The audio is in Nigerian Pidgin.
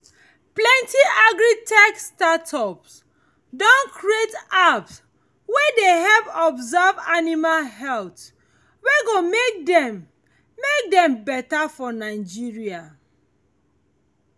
plenty agri-tech startup don create apps wey dey help observe animal health we go make dem make dem better for nigeria